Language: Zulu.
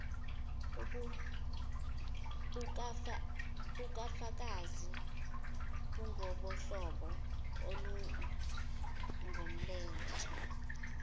bukafakazi bungobohlobo olungolomthetho